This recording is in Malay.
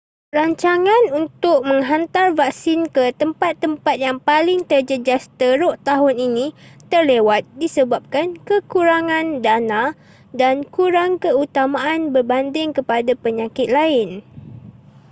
rancangan untuk menghantar vaksin ke tempat-tempat yang paling terjejas teruk tahun ini terlewat disebabkan kekurangan dana dan kurang keutamaan berbanding kepada penyakit lain